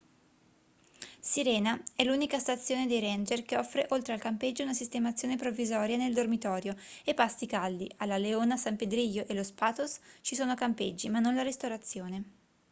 sirena è l'unica stazione dei ranger che offre oltre al campeggio una sistemazione provvisoria nel dormitorio e pasti caldi a la leona san pedrillo e los patos ci sono campeggi ma non la ristorazione